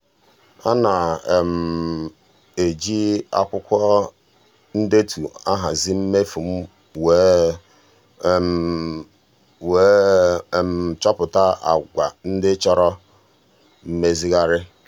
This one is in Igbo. ana um m um ejij akwụkwọ ndetu ahazi mmefu m wee um wee um chọpụta agwa ndị chọrọ mmezigharị.